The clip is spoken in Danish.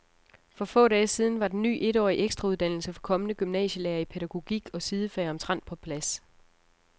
For få dage siden var den ny etårige ekstrauddannelse for kommende gymnasielærere i pædagogik og sidefag omtrent på plads.